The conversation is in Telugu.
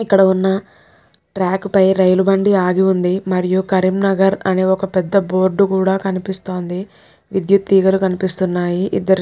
ఇక్కడ ఉన్న ట్రాక్ పై రైలుబండి ఆగి ఉంది మరియు కరీంనగర్ అని ఒక్క పెద్ద బోర్డ్ కూడా కనిపిస్తోంది విద్యుత్ తీగలు కనిపిస్తున్నాయి ఇద్దరు --